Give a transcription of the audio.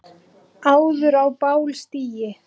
áður á bál stigi